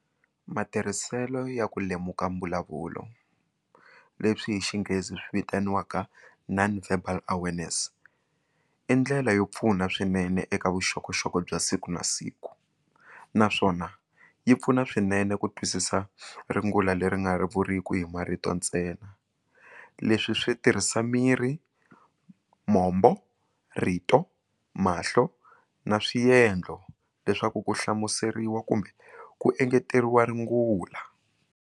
Matirhiselo ya ku lemuka mbulavulo leswi hi xinghezi swi vitaniwaka non-verbal awareness i ndlela yo pfuna swinene eka vuxokoxoko bya siku na siku naswona yi pfuna swinene ku twisisa rungula leri nga ri vuriku hi marito ntsena leswi swi tirhisa miri mombo rito mahlo na swiendlo leswaku ku hlamuseriwa kumbe ku engeteriwa rungula.